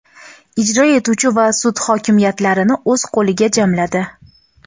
ijro etuvchi va sud hokimiyatlarini o‘z qo‘liga jamladi.